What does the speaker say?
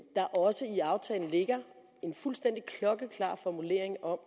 der også i aftalen ligger en fuldstændig klokkeklar formulering om